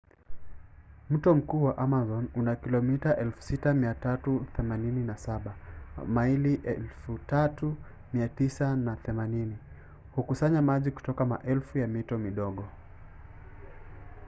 mto mkuu wa amazon una kilomita 6,387 maili 3,980. hukusanya maji kutoka maelfu ya mito midogo